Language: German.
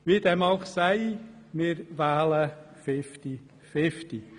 Wie dem auch sei, wir wählen fifty-fifty.